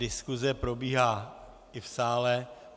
Diskuse probíhá i v sále.